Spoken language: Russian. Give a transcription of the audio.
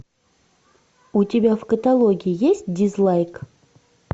у тебя в каталоге есть дизлайк